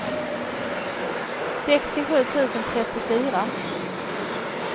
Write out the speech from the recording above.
sextiosju tusen trettiofyra